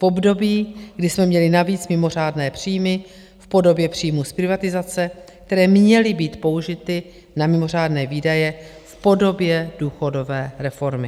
V období, kdy jsme měli navíc mimořádné příjmy v podobě příjmů z privatizace, které měly být použity na mimořádné výdaje v podobě důchodové reformy.